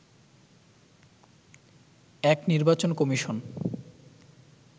এক নির্বাচন কমিশন